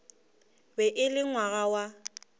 be e le ngwana wa